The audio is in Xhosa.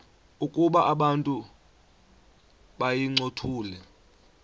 ukuba abantu bayincothule